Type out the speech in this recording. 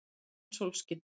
Það var enn sólskin.